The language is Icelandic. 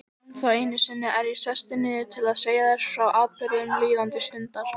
Ennþá einu sinni er ég sestur niður til að segja þér frá atburðum líðandi stundar.